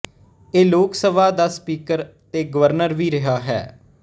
ਇਹ ਲੋਕ ਸਭਾ ਦਾ ਸਪੀਕਰ ਤੇ ਗਵਰਨਰ ਵੀ ਰਿਹਾ ਹੈ